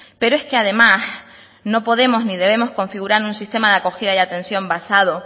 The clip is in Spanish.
pero es que además no podemos ni debemos configurar un sistema de acogida y atención basado